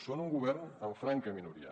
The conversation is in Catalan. són un govern en franca minoria